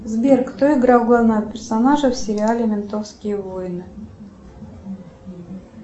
сбер кто играл главного персонажа в сериале ментовские войны